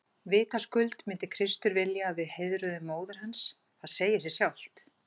Vitaskuld myndi Kristur vilja að við heiðruðum móður hans, það segir sig sjálft!